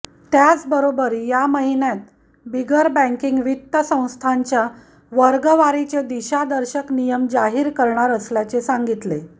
त्याचबरोबर या महिन्यात बिगर बॅंकिग वित्त संस्थांच्या वर्गवारीचे दिशादर्शक नियम जाहीर करणार असल्याचे सांगितले